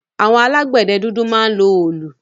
Àwọn alágbẹ̀dẹ dúdú máa ń lo òòlù.